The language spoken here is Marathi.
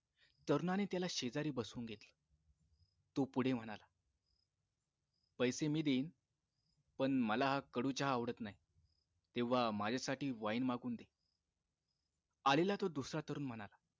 तरुणाने त्याला शेजारी बसवून घेतले तो पुढे म्हणाला पैसे मी देईन पण मला हा कडू चहा आवडत नाही तेव्हा माझ्यासाठी wine मागवून दे आलेला तो दुसरा तरुण म्हणाला